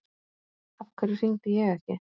Af hverju hringdi ég ekki?